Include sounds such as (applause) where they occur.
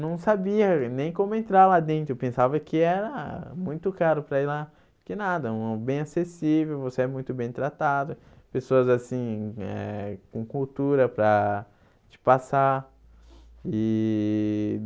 não sabia nem como entrar lá dentro, pensava que era muito caro para ir lá, que nada, (unintelligible) é bem acessível, você é muito bem tratado, pessoas assim eh com cultura para te passar e.